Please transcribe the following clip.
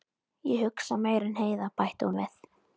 Ég hugsa meira en Heiða, bætti hún við.